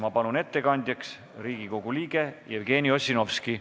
Ma palun ettekandjaks Riigikogu liikme Jevgeni Ossinovski.